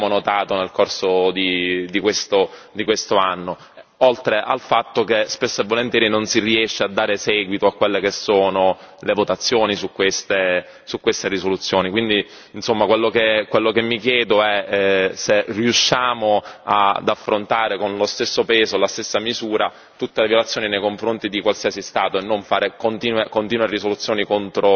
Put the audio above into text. Questo, purtroppo, è quello che abbiamo notato nel corso di quest'anno, oltre al fatto che spesso e volentieri non si riesce a dare seguito a quelle che sono le votazioni su queste risoluzioni, quindi, insomma, quello che mi chiedo è se riusciamo ad affrontare con lo stesso peso e la stessa misura tutte le violazioni nei confronti di qualsiasi Stato e non fare